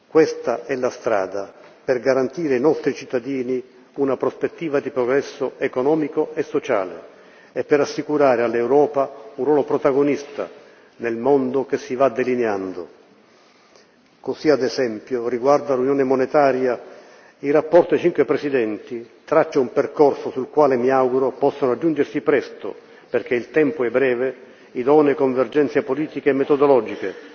Questa è la strada per garantire ai nostri cittadini una prospettiva di progresso economico e sociale e per assicurare all'Europa un ruolo protagonista nel mondo che si va delineando. Così, ad esempio, riguardo all'Unione monetaria, il rapporto dei cinque presidenti traccia un percorso sul quale, mi auguro, possano raggiungersi presto perché il tempo è breve idonee convergenze politiche e metodologiche,